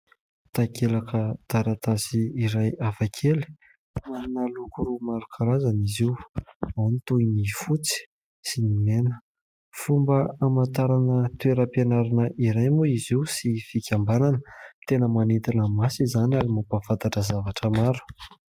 Takelaka taratasy iray hafakely manana loko maro karazana izy io. Ao ny toy ny fotsy sy ny mena. Fomba hamantarana toeram-pianarana iray moa izy io sy fikambanana. Tena manintona maso izany ary mampafantatra zavatra maro.